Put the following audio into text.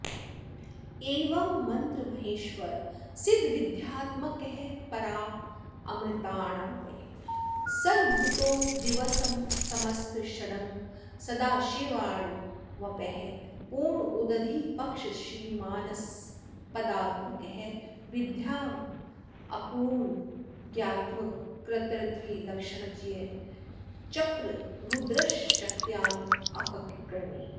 एवं मन्त्रमहेश्वर सिद्धविद्यात्मकः परामृतार्णवः सर्वभूतो दिक्समस्तषडङ्गः सदाशिवार्णवपयः पूर्णोदधिपक्षश्रीमानास्पदात्मकः विद्योमापूर्णज्ञत्वकर्तृत्वलक्षणज्येष्ठाचक्ररुद्रशक्त्यात्मककर्णि कः